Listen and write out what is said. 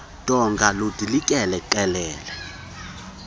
donga ludilikele qelele